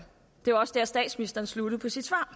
det også der statsministeren sluttede i sit svar